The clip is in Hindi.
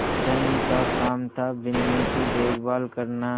धनी का काम थाबिन्नी की देखभाल करना